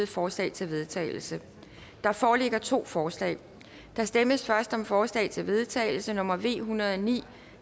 forslag til vedtagelse der foreligger to forslag der stemmes først om forslag til vedtagelse nummer v en hundrede og ni